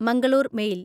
Mangalore mail